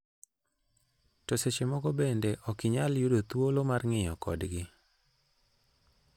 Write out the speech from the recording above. To seche moko bende, ok inyal yudo thuolo mar ng'iyo kodgi".